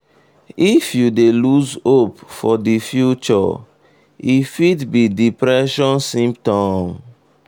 if you dey lose hope for the future e fit be depression symptom.